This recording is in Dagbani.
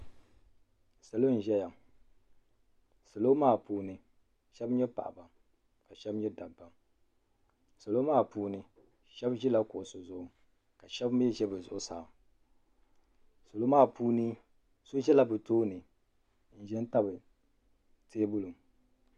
Salo n ʒeya salo maa puuni sheba nyɛ paɣaba ka sheba nyɛ dabba salo maa puuni sheba ʒila kuɣusi zuɣu ka sheba mee ʒi bɛ zuɣusaa salo maa puuni so ʒɛla bɛ tooni n ʒɛn tabi teebuli.